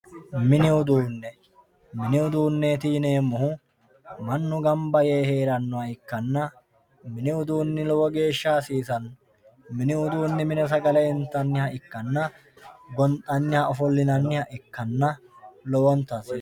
mini uduune mini uduuneeti yineemohu mannu gamba yee heerannoha ikkanna mini uduuni lowo gashsha hasiisanno mini uduuni mine hose gale intaniha ikkanna gondhaniha , ofolinanniha ikkanna lowonta asse